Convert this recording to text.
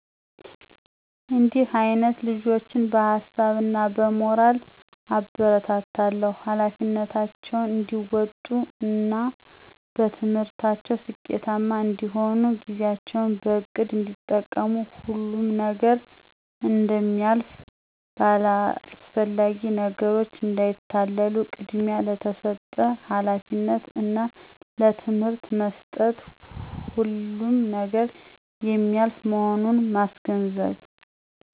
እዲህ አይነት ልጆችን በሀሳብ እና በሞራል አበረታታለሁ። ኃላፊነታቸውን እዲወጡ እና በትምህርታቸው ስኬታማ እንዲሆኑ፦ ጊዜያቸውን በእቅድ እዲጠቀሙ፣ ሁሉም ነገር እደሚልፍ፣ በአላስፈላጊ ነገሮች እዳይታለሉ፣ ቅድሚያ ለተሰጠ ሀላፊነት እና ለትምህርት መስጠት። ሁሉም ነገር የሚያልፍ መሆኑን ማስገንዘብ።